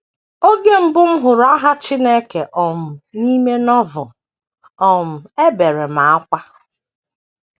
“ Oge mbụ m hụrụ aha Chineke um n’ime Novel, um ebere m ákwá.